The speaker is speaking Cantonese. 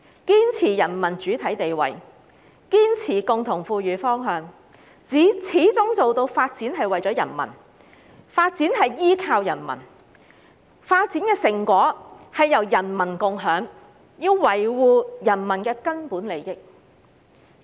堅持人民主體地位，堅持共同富裕方向，始終做到發展為了人民，發展依靠人民，發展成果由人民共用，維護人民根本利益"。